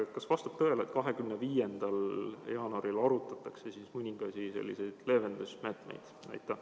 Kas vastab tõele, et 25. veebruaril arutatakse mõningaid selliseid leevendusmeetmeid?